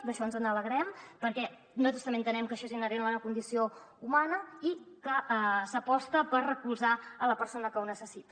d’això ens n’alegrem perquè nosaltres també entenem que això és inherent a la condició humana i que s’aposta per recolzar la persona que ho necessita